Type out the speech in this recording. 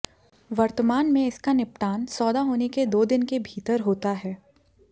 वर्तमान में इसका निपटान सौदा होने के दो दिन के भीतर होता है